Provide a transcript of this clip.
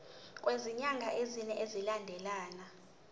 kwezinyanga ezine zilandelana